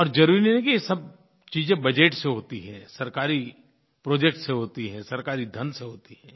और ज़रूरी नहीं है कि ये सब चीज़ें बजट से होती हैं सरकारी प्रोजेक्ट से होती हैं सरकारी धन से होती हैं